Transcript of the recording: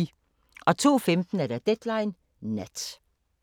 02:15: Deadline Nat